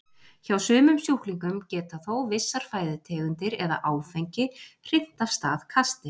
Hjá sumum sjúklingum geta þó vissar fæðutegundir eða áfengi hrint af stað kasti.